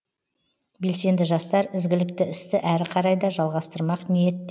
белсенді жастар ізгілікті істі әрі қарай да жалғастырмақ ниетте